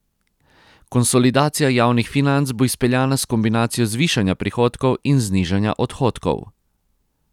Konsolidacija javnih financ bo izpeljana s kombinacijo zvišanja prihodkov in znižanja odhodkov.